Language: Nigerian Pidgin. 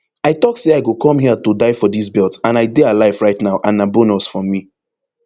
i tok say i go come hia to die for dis belt and i dey alive right now and na bonus for me